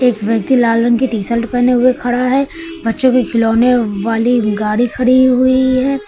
व्यक्ति लाल रंग की टी शल्ट पहने हुए खड़ा है बच्चों के खिलौने वाली गाड़ी खड़ी हुई है।